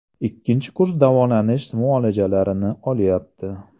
Ikkinchi kurs davolanish muolajalarini olyapti.